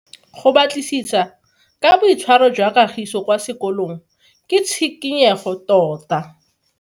Go batlisisa ka boitshwaro jwa Kagiso kwa sekolong ke tshikinyego tota.